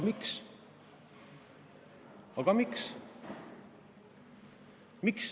Miks?